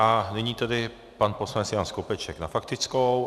A nyní tedy pan poslanec Jan Skopeček na faktickou.